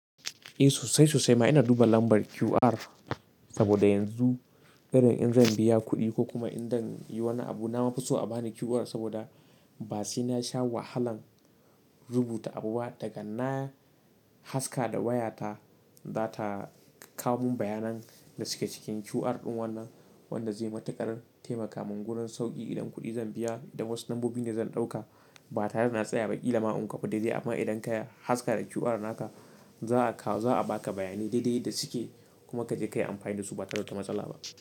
Eh sosai sosai ma ina duba lambar QR saboda yanzu irin in zan biya kuɗi ko kuma idan yi wani abu na mafi so a bani QR saboda ba sai na sha wahalan rubuta abu ba, daga na haska da waya ta za ta kawo mun bayanan da suke cikin QR ɗin wannan wanda zai matuƙar taimaka mun wurin sauƙi idan kuɗi zan biya idan wasu lambobi ne zan ɗauka ba tare da na tsaya ba ƙila ma in kopi dai dai amma idan ka haska da QR naka za a kawo za a baka bayanai daidai yadda suke kuma ka je ka yi amfani da su ba tare da matsala ba.